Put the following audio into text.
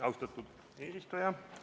Austatud eesistuja!